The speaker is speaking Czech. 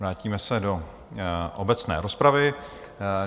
Vrátíme se do obecné rozpravy.